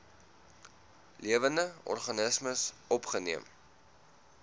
lewende organismes opgeneem